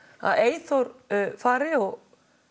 að Eyþór fari og